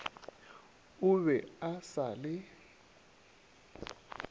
o be a sa le